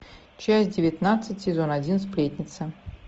часть девятнадцать сезон один сплетница